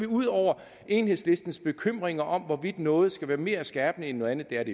ude over enhedslistens bekymringer om hvorvidt noget skal være mere skærpende end noget andet det er